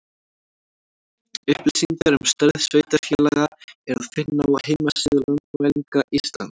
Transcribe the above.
Upplýsingar um stærð sveitarfélaga er að finna á heimasíðu Landmælinga Íslands.